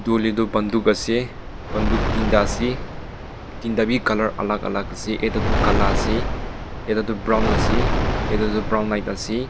buli tu bandu ase banduk tinta ase tinta bhi colour alag alag ase etu tu kala ase yate tu brown ase yate tu brown light ase.